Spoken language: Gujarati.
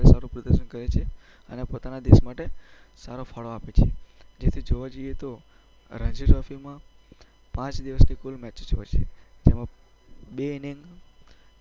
જે સારું પ્રદર્શન કરે છે અને પોતાના દેશ માટે સારો ફાળો આપે છે. જેથી જોવા જઈએ તો રણજી ટ્રોફીમાં પાંચ દિવસની કુલ મેચિસ હોય છે, જેમાં બે ઈનિંગ